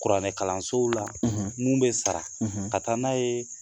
Kuranɛkalansow la, mun bɛ sara, ka taa n'a ye